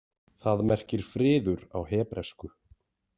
Það merkir friður á hebresku.